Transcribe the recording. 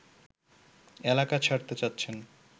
এলাকা ছাড়তে চাচ্ছেন